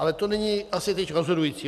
Ale to není asi teď rozhodující.